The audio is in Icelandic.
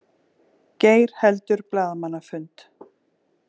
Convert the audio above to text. Geir heldur blaðamannafund